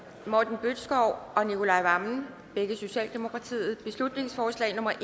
morten bødskov og nicolai wammen beslutningsforslag nummer